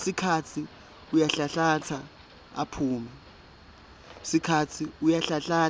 sikhatsi uyanhlanhlatsa